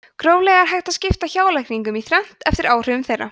gróflega er hægt að skipta hjálækningum í þrennt eftir áhrifum þeirra